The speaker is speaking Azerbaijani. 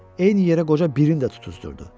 Eyni yerə qoca birin də tutuzdurdu.